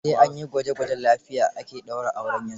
Sai an yi gwaje gwajen lafiya ake ɗaura aure yanzu.